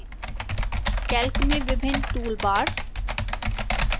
calc में विभिन्न toolbars